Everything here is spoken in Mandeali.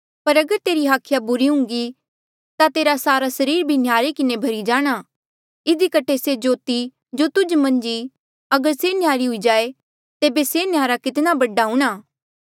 पर अगर तेरी हाखिया बुरी हुन्घी ता तेरा सारा सरीर भी नह्यारे किन्हें भरी जाणा इधी कठे से ज्योति जो तुध मन्झ ई अगर से नह्यारी हुई जाए तेबे से न्हयारा कितणा बडा हूंणां